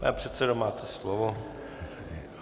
Pane předsedo, máte slovo.